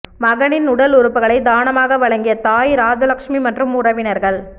மகனின் உடல் உறுப்புகளை தானமாக வழங்கிய தாய் ராஜலக்ஷ்மி மற்றும் உறவினர்கள்